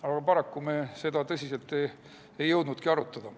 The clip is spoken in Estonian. Aga paraku me seda tõsiselt ei jõudnudki arutada.